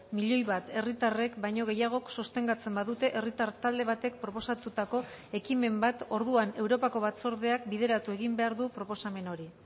milioi bat herritarrek baino gehiagok sostengatzen badute herritar talde batek proposatutako ekimen bat orduan europako batzordeak bideratu egin behar du proposamen hori